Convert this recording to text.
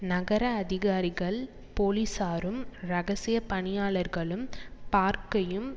நகர அதிகாரிகள் போலீசாரும் இரகசிய பணியாளர்களும் பார்க்கையும்